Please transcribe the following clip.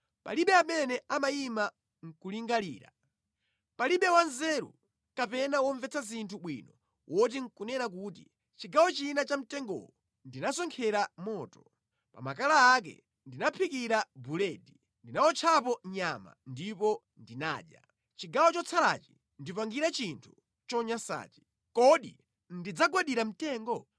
Palibe amene amayima nʼkulingalira. Palibe wanzeru kapena womvetsa zinthu bwino woti nʼkunena kuti, chigawo china cha mtengowo ndinasonkhera moto; pa makala ake ndinaphikira buledi, ndinawotchapo nyama ndipo ndinadya. Chigawo chotsalachi ndipangire chinthu chonyansachi. Kodi ndidzagwadira mtengo?